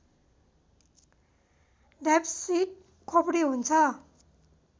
diapsid खोपडी हुन्छ